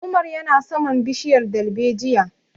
Umar ya na saman bishiyar dalbejiya